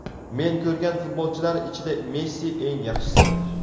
Men ko‘rgan futbolchilar ichida Messi eng yaxshisi.